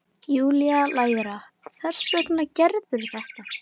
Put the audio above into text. Júlía lægra: Hvers vegna gerðirðu þetta?